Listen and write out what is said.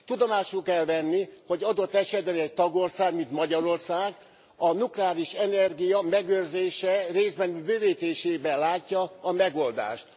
Tudomásul kell venni, hogy adott esetben egy tagország, mint Magyarország a nukleáris energia megőrzésében, részben bővítésében látja a megoldást.